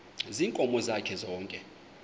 ziinkomo zakhe zonke